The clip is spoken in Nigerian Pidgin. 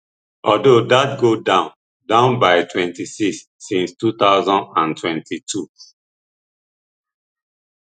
although dat go down down by twenty-six since two thousand and twenty-two